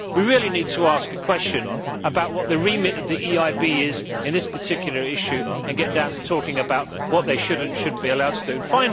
We really need to ask a question about what the remit of the EIB is in this particular issue and get down to talking about what they should and should not be allowed to do.